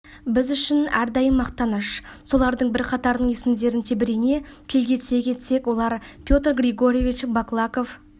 біз үшін әрдайым мақтаныш солардың бірқатарының есімдерін тебірене тілге тиек етсек олар петр григорьевич баклаков